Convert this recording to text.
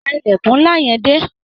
Pa ìlèkùn nla yẹn dé.